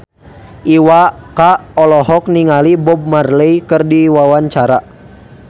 Iwa K olohok ningali Bob Marley keur diwawancara